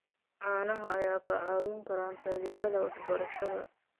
Caanaha ayaa kaa caawin kara taageerada waxbarashada.